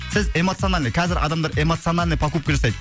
біз эмоциональный қазір адамдар эмоциональный покупка жасайды